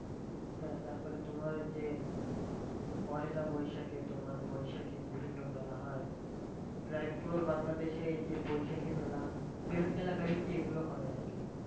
হ্যাঁ তারপরে তোমার ওই যে পয়লা বৈশাখে তোমার বৈশাখী বিভিন্ন মেলা হয় প্রায় পুরো বাংলাদেশেই এই যে বৈশাখী মেলা এলাকা ভিত্তিক গুলো হয় আর কি